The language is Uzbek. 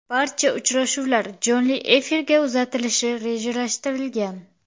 Barcha uchrashuvlar jonli efirga uzatilishi rejalashtirilgan.